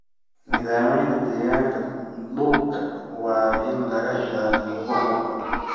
Nidaamyada deegaanka dhulka waa in laga ilaaliyo burburka.